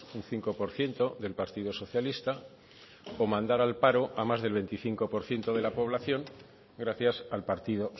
un cinco por ciento del partido socialista o mandar al paro a más del veinticinco por ciento de la población gracias al partido